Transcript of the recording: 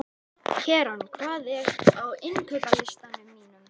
Keran, hvað er á innkaupalistanum mínum?